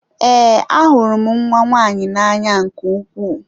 Ee, ahụrụ m nwa nwaanyị na-anya nke ukwuu.